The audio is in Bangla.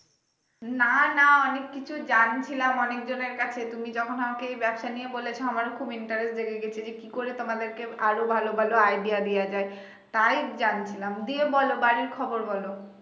না না অনেক কিছুই জানছিলাম অনেক জনের কাছে তুমি যখন আমাকে এই ব্যাবসা নিয়ে বলেছো আমারও খুব interest লেগে গেছে যে কি করে তোমাদেরকে আরো ভালো ভালো idea দেয়া যায় তাই জানছিলাম দেব। বলো বাড়ির খবর বলো